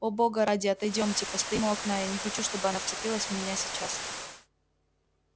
о бога ради отойдёмте постоим у окна я не хочу чтобы она вцепилась в меня сейчас